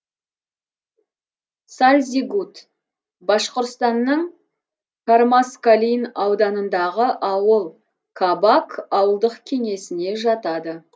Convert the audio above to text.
сальзигут башқұртстанның кармаскалин ауданындағы ауыл кабак ауылдық кеңесіне жатады